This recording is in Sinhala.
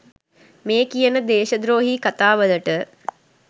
මේ කියන දේශද්‍රෝහී කතා වලට.